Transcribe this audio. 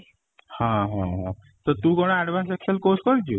ହଁ, ହଁ ହଁ ତ ତୁ କ'ଣ advance excel course କରିଛୁ?